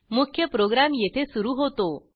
मुख्य प्रोग्रॅम येथे सुरू होतो